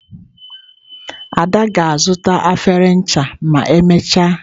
*Ada ga-azuta efere ncha ma emechaa.